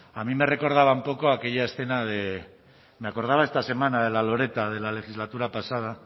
a mí me recordaba un poco a aquella escena de me acordaba esta semana de la loretta de la legislatura pasada